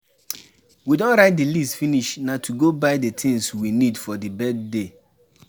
We don write the list finish na to go buy the things we need for the birthday